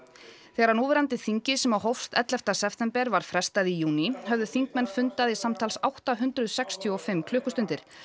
þegar núverandi þingi sem hófst ellefta september var frestað í júní höfðu þingmenn fundað í samtals átta hundruð sextíu og fimm klukkustundir